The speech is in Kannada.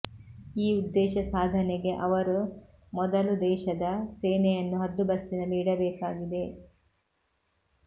ಈ ಉದ್ದೇಶ ಸಾಧನೆಗೆ ಅವರು ಮೊದಲು ದೇಶದ ಸೇನೆಯನ್ನು ಹದ್ದುಬಸ್ತಿನಲ್ಲಿ ಇಡಬೇಕಾಗಿದೆ